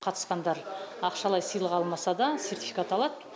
қатысқандар ақшалай сыйлық алмаса да сертификат алады